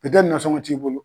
pɛtɛ nasɔngɔn t'i bolo